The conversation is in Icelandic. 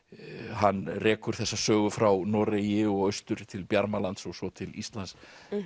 hann rekur þessa sögu frá Noregi og austur til Bjarmalands og svo til Íslands